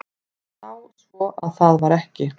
Sá svo að það var ekki.